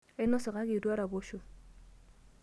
Ainosa kake eitu araposho.